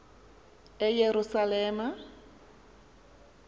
eyerusalem